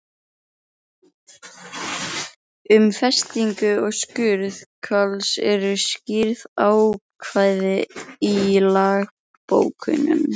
Um festingu og skurð hvals eru skýr ákvæði í lögbókunum.